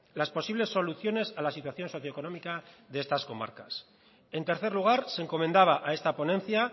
las posibles soluciones a la situación socio económica de estas comarcas en tercer lugar se encomendaba a esta ponencia